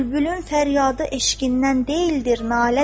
Bülbülün fəryadı eşqindən deyildir nalədir.